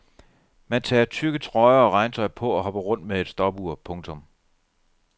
Man tager tykke trøjer og regntøj på og hopper rundt med et stopur. punktum